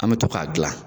An bɛ to k'a dilan